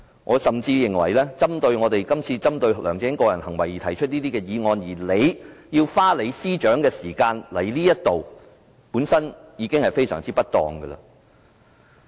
我甚至認為，我們今次針對梁振英個人行為提出這項議案，司長花時間來立法會，本身已是非常不當。